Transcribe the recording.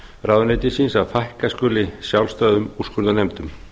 ráðuneytisins að fækka skuli sjálfstæðum úrskurðarnefndum